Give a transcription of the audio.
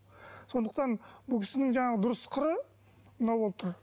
сондықтан бұл кісінің жаңағы дұрыс қыры мынау болып тұр